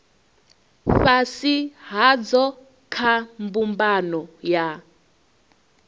fhasi hadzo kha mbumbano ya